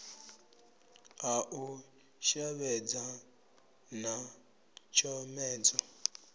a u shavhedza na tshomedzo